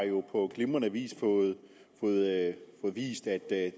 jo på glimrende vis fået vist at